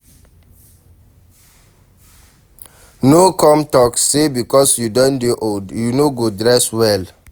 No come talk sey because you don dey old you no go dey dress well